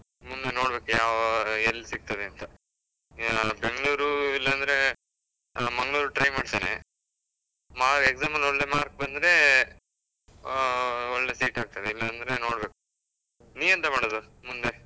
ಮುಂದೆ ನೋಡ್ಬೇಕು ಯಾವ ಎಲ್ಲ್ ಸಿಕ್ತದೆಂತ, ಆ ಬೆಂಗ್ಳೂರು ಇಲ್ಲ ಅಂದ್ರೇ ಆ ಮಂಗ್ಳೂರು try ಮಾಡ್ತೇನೆ, ಮಾ~ exam ಅಲ್ಲ್ ಒಳ್ಳೆ marks ಬಂದ್ರೇ ಆ ಒಳ್ಳೆ seat ಆಗ್ತದೆ, ಇಲ್ಲಾಂದ್ರೆ ನೋಡ್ಬೇಕು. ನೀ ಎಂತ ಮಾಡುದು ಮುಂದೆ?